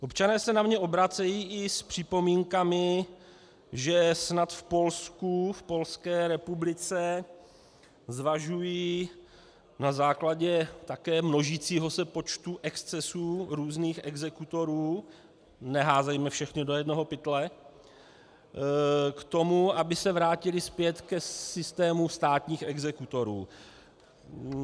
Občané se na mě obracejí i s připomínkami, že snad v Polsku, v Polské republice, zvažují na základě také množícího se počtu excesů různých exekutorů, neházejme všechny do jednoho pytle, k tomu, aby se vrátili zpět k systému státních exekutorů.